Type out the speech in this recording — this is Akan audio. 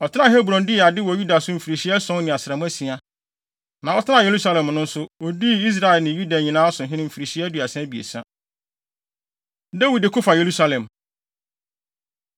Ɔtenaa Hebron dii ade wɔ Yuda so mfirihyia ason ne asram asia. Na ɔtenaa Yerusalem no nso, odii Israel ne Yuda nyinaa so hene mfirihyia aduasa abiɛsa. Dawid Ko Fa Yerusalem